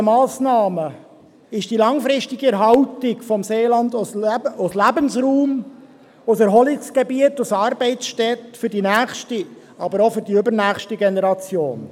Ziel der Massnahmen ist die langfristige Erhaltung des Seelands als Lebensraum, Erholungsgebiet und als Arbeitsstätte für die nächste, aber auch für die übernächste Generation.